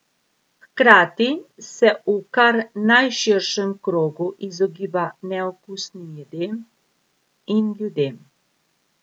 Hkrati se v kar najširšem krogu izogiba neokusnim jedem in ljudem.